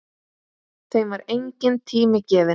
Þeim var enginn tími gefinn.